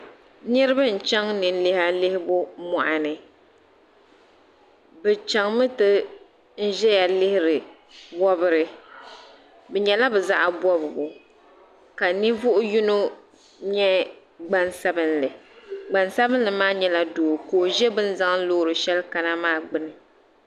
Niriba n chaŋ nini liha lihibu muɣu ni bi chaŋ mi n ti ziya lihiri wobiri bi yɛla bi zaɣi bɔbigu ka ninvuɣi yino yɛ gban sabinli gban sabinli maa yɛla doo ka o zi bini zaŋ loori shɛli kana maa gbuni.